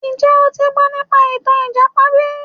Njẹ́ o ti gbọ́ nípa ìtàn ìjàpá bí?